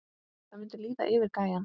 Það mundi líða yfir gæjann!